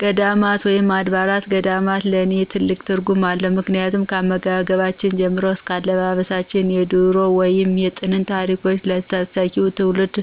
ገዳማት ወይም አድባራት ገዳማት ለኔ ትልቅ ትርጉም አለው ምክንያቱም ካመጋገብ ጀምሮ እስከ አለባበሳቸው የድሮ ወይም የጥንት ታሪኮችን ለተተኪው ትውልድ